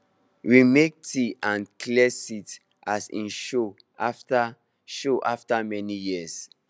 we make tea and clear seat as he show after show after many years